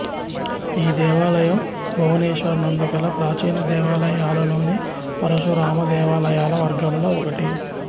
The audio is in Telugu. ఈ దేవాలయం భువనేశ్వర్ నందు గల ప్రాచీన దేవాలయాలలోని పరశురామ దేవాలయాల వర్గంలో ఒకటి